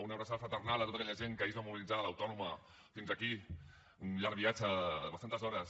una abraçada fraternal a tota aquella gent que ahir es va mobilitzar de l’autònoma fins aquí un llarg viatge de bastantes hores